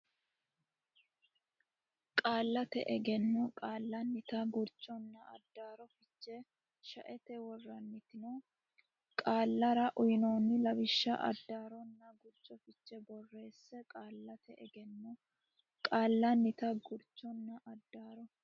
Qaallate Egenno Qaallannita Gurchonna Addaarro Fiche shaete worantino qaallara uynoonni lawishshi addaarronna gurcho fiche borreesse Qaallate Egenno Qaallannita Gurchonna Addaarro.